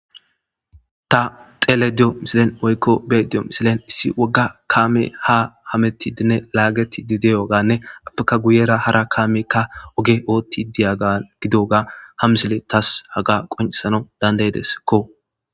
Ta dhelayda diyo missiliyan woyko be'ayda diyo missiliyan issi woga kame ha hametidinne lagetidi diyogane apeka guyera hara kameka oge othidiyaga ha missile tas haga qonc'isanaw danda'desko.